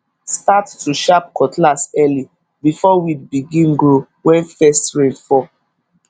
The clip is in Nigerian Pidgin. start to sharp cutlass early before weed begin grow when first rain fall